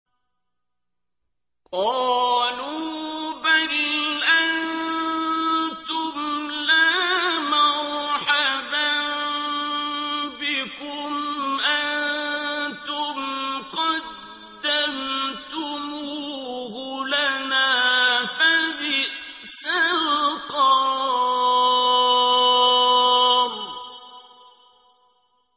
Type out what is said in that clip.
قَالُوا بَلْ أَنتُمْ لَا مَرْحَبًا بِكُمْ ۖ أَنتُمْ قَدَّمْتُمُوهُ لَنَا ۖ فَبِئْسَ الْقَرَارُ